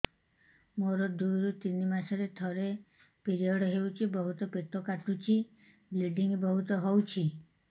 ମୋର ଦୁଇରୁ ତିନି ମାସରେ ଥରେ ପିରିଅଡ଼ ହଉଛି ବହୁତ ପେଟ କାଟୁଛି ବ୍ଲିଡ଼ିଙ୍ଗ ବହୁତ ହଉଛି